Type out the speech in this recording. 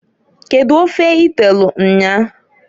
Kedu ofe i telu nnyaa?